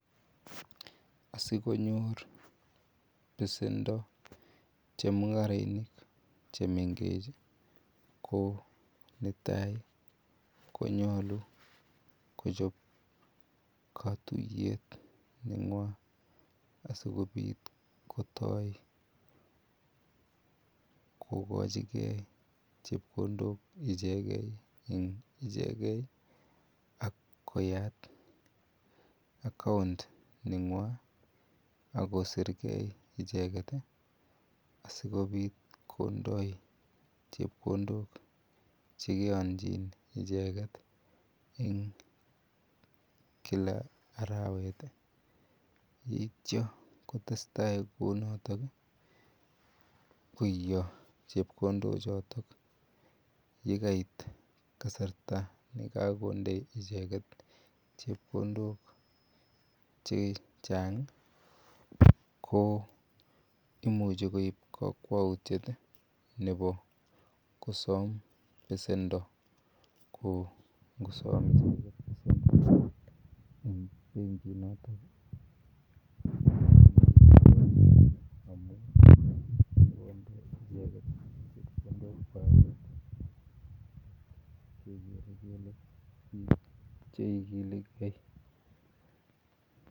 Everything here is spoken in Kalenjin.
Asikonyor besendo chemung'arainik chemengech ih, ko netai konyalu Kochab katuyet nenyuan asikobit kotaa, kokochige chebkondok icheket en icheket. Ak akoyat account ,nenyuan ih akosirke icheket ih asikobit kondai chebkondok chegaiyanchin icheket en Kila arawet ih yeitia kotesta6kou noton ih . Yeitia koia chebkondok choton yekakoit kasarta yagakonde icheket chebkondok chechang ih. Ko imuche koib kakwautiiet ih nebo kosam besendo ko ngosam besendo koingunon chekilege